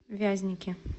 вязники